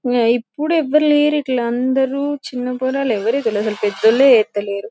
ఆ ఎప్పుడు ఎవరు లేరు ఇట్లా అందరు చిన్న చెప్తలేరు.